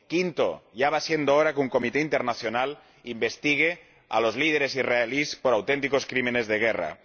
quinto, ya va siendo hora de que un comité internacional investigue a los líderes israelíes por auténticos crímenes de guerra